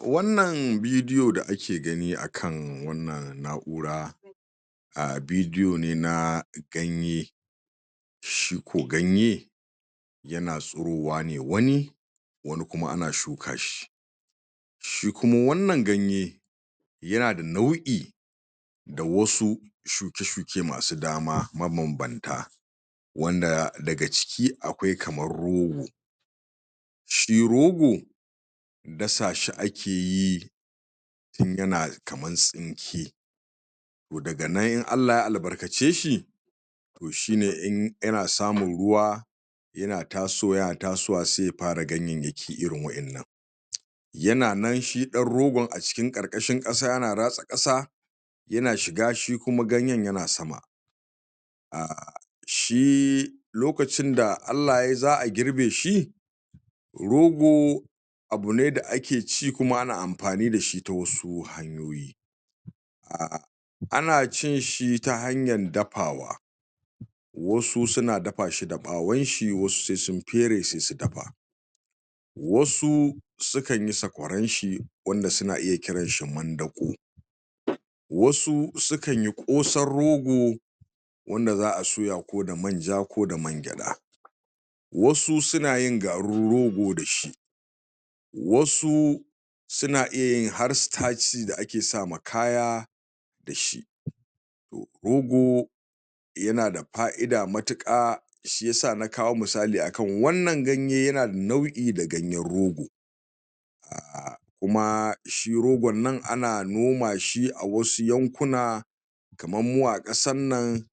wan nan vidio da ake gani akan wan nan naura vidio ne na ganye shiko ganye yana tsirowa ne wani wani kuma ana shukashi shikuma wan nan ganye yana da nau'i da wasu shuke shuke masu dama ma ban ban ta wan da daka ciki akwai kaman rogo shi rogo dasashi a ke yi yana kaman tsinke to daga nan in Allah ya albarkaceshi shine in yana samun ruwa yana tasowa, yana tasowa sai ya fara ganyeiyaki irin wayan nan yana nan shi dan rogon, a cikin karkashin kasa, yana ratsa kasa yana shiga shikuma ganyen yana sama shi lokacin da Allah yayi zaa girbeshi rogo abu ne da ake ci kuma ake anfani dashi ta wasu hanyoyi ana cinshi ta hanyan dafawa wasu suna dafashi da bawonshi wasu sai sun fere sai su dafa wasu sukan yi sakwaranshi wanda suna iya kiranshi mandako wasu sukan yi kosan rogo wada zaa soya ko da manja ko da man kgada wasunsuna yin garin rogo dashi wasu suna iyayin har sitaci da ake sama kaya dashi rogo yana da faida matuka wan nan ganye yana da faida da ganyen rogo kuma shi rogon nan ana nomashi a wasu yankuna kaman mu a kasan nan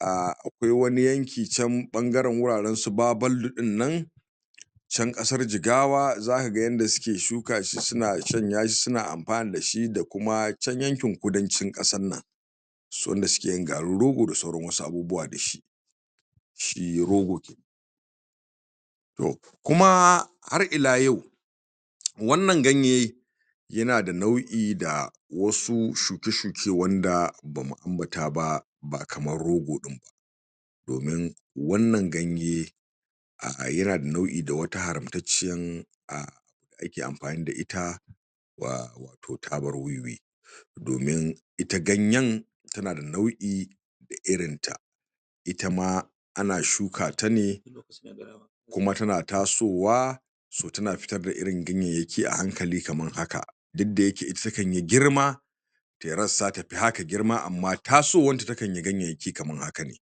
akwai wa su yanki can fangaren guraren su babaidu din nan can kasar jigawa zakaga yadda suke shukashi suna shanyashi suna anfani da shi da kuma chan yankin kudan cin kasan nan wanda sukeyin garin rogo da sauran abubuwa dashi shi rogo kuma har ila yau wan nan ganye yana da naui da wasu shuke shuke wanda bamu anbata ba ba kaman rogo din ba domin wannan ganye yana da naui da wata haramcecciyar da ake anfani da ita wato taban wiwi domin ita ganyen tana da naui da irin ta itama ana shukata ne kuma tana tasowa tana futar da ganyenyaki ahankali kaman haka dukda yake ita takan yi girma tayi rassa tafi haka girma, amma tasowanta takan yi gaiyaiyaki kaman hakane